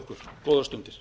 okkur góðar stundir